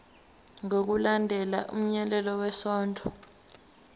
ngokulandela umyalelo wesondlo